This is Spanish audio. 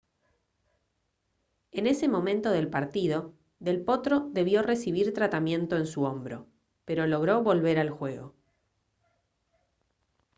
en ese momento del partido del potro debió recibir tratamiento en su hombro pero logró volver al juego